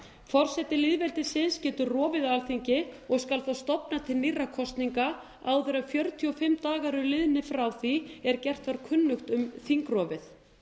forseti lýðveldisins getur rofið alþingi og skal þá stofna til nýrra kosninga áður en fjörutíu og fimm dagar eru liðnir frá því er gert var kunnugt um þingrofið